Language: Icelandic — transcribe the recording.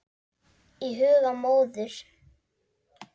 Í huga móður